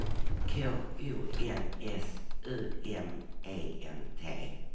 K O N S U M E N T